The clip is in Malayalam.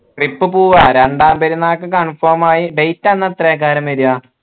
trip പോവാ രണ്ടാം പെരുന്നാൾക്ക് confirm ആയി date അന്ന് എത്രാകായിരം വര